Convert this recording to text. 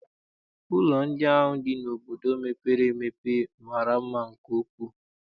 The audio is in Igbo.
Ụlọ ndị ahụ dị n'obodo mepere emepe mara mma nke ukwuu.